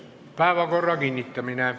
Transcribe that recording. Päevakorra kinnitamine.